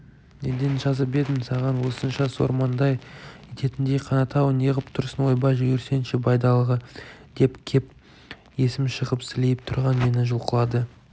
неден жазып едім саған осынша сор маңдай ететіндей қанат-ау неғып тұрсың ойбай жүгірсеңші байдалыға деп кеп есім шығып сілейіп тұрған мені жұлқылады